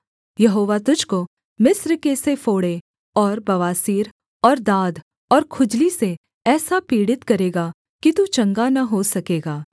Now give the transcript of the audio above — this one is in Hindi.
यहोवा तुझको मिस्र के से फोड़े और बवासीर और दाद और खुजली से ऐसा पीड़ित करेगा कि तू चंगा न हो सकेगा